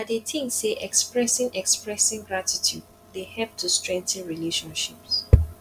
i dey think say expressing expressing gratitude dey help to strengthen relationships